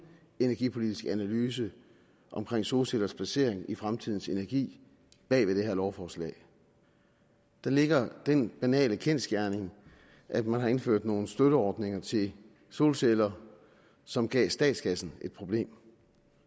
energipolitisk analyse af solcellers placering i fremtidens energi bag det her lovforslag der ligger den banale kendsgerning at man har indført nogle støtteordninger til solceller som gav statskassen et problem